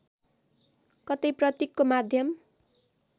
कतै प्रतीकको माध्यम